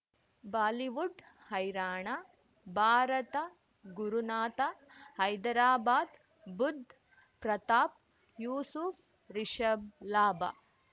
Bollywood ಹೈರಾಣ ಭಾರತ ಗುರುನಾಥ ಹೈದರಾಬಾದ್ ಬುಧ್ ಪ್ರತಾಪ್ ಯೂಸುಫ್ ರಿಷಬ್ ಲಾಭ